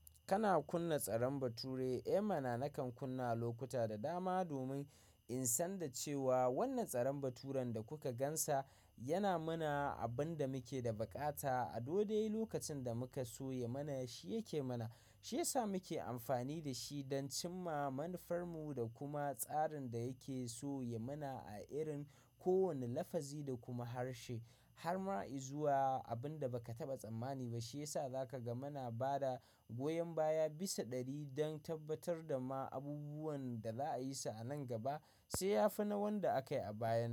Kana kunna tsarin bature, eh mana nakan kunna lokuta da dama domin in san da cewa wannan tsarin baturan da kuka gan sa yana mana abin da muke da baƙata. A dodai lokacin da muka so ya mana shi yake mana shiyasa muke amfani da shi don cimma manufarmu da kuma tsarin da yake so ya mana a irin ko wanne lafazi da kuma harshe har ma i zuwa abin da baka taɓa tsammani ba shiyasa za ka ga muna bada goyon baya bisa ɗari don tabbatar da ma abubuwan da za'a yi su a nan gaba sai ya fi na wanda aka yi a bayan nan.